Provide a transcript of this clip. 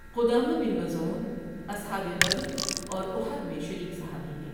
قدامہ بن مظعون اصحاب بدر اور احد میں شریک صحابی ہیں۔